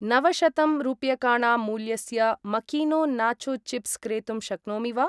नवशतं रूप्यकाणां मूल्यस्य मकीनो नाचो चिप्स् क्रेतुं शक्नोमि वा?